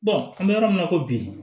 an bɛ yɔrɔ min na i ko bi